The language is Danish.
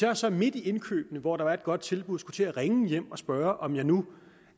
jeg så midt i indkøbene hvor der er et godt tilbud skulle til at ringe hjem og spørge om jeg nu